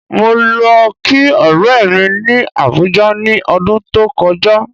Mo lo kí ọ̀rẹ́ mi ni Abuja ni ọdún tó kọjá